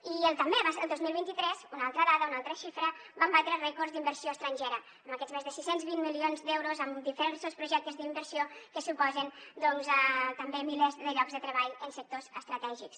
i també el dos mil vint dos una altra dada una altra xifra vam batre rècords d’inversió estrangera amb aquests més de sis cents i vint milions d’euros en diversos projectes d’inversió que suposen doncs també milers de llocs de treball en sectors estratègics